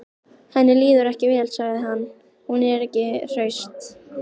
Henni líður ekki vel, sagði hann: Hún er ekki hraust.